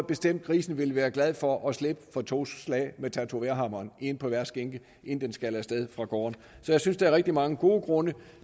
bestemt at grisen ville være glad for at slippe for to slag med tatovørhammeren en på hver skinke inden den skal af sted fra gården så jeg synes der er rigtig mange gode grunde